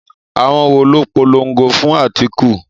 Àwọn wo ló polongo fún Atiku?